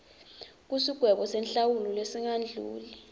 kusigwebo senhlawulo lesingadluli